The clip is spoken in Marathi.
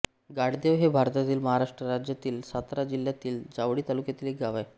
गाळदेव हे भारतातील महाराष्ट्र राज्यातील सातारा जिल्ह्यातील जावळी तालुक्यातील एक गाव आहे